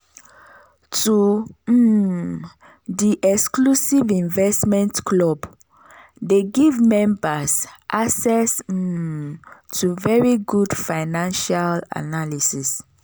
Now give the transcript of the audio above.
to um di exclusive investment club dey give membas access um to very good financial analysis.